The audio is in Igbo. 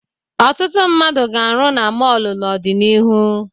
Ọtụtụ mmadụ ga-arụ na mọọlụ n'ọdịnihu.